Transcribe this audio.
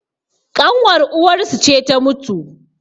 ƙanwar uwarsu ce ta mutu